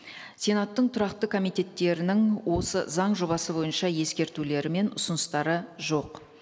сенаттың тұрақты комитеттерінің осы заң жобасы бойынша ескертулері мен ұсыныстары жоқ